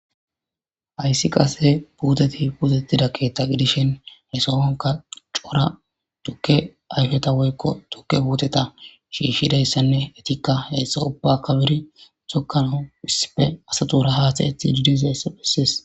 Hayssi qassi puuthethi puutheththida keeththa gidishin he sohuwankka cora thukke ayfetha woykko thukke puuthetha shiishshidayssanne ethikka he so ubba efiri thokkanawu issippe asathuura haathayeththiidde dizayssa bessees.